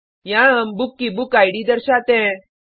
यहाँ हम बुक की बुकिड दर्शाते हैं